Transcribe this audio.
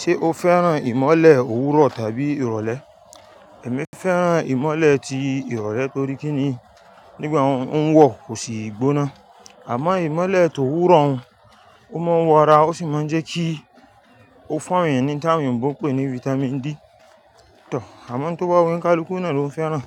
Ṣé o fẹ́ràn ìmọ́lẹ̀ òwúrọ̀ tàbí ìrọ̀lẹ́? Ẹ̀mí fẹ́ràn ìmọ́lẹ̀ ti ìrọ̀lẹ́ torí kin ni nígbà ó ń wọ̀ kò sì gbóná. Àmọ́ ìmọ́lẹ̀ tó wúrọ̀ hún ó máa ń wọ ara ó sì máa ń jẹ́ kí ó fún èèyàn ní tí àwọn òǹgbó ń pè ní Vitamin D. Tọ̀, àmọ́ tó bá wù mí ká likú náà ló ń fẹ́ràn,